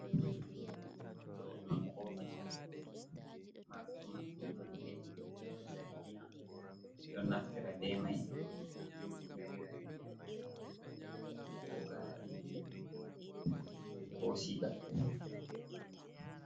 Ɗo ɗum kofi marɗum nonde zarigina ɗo naftara be mai yarira ndiyam ko gari ko shiga.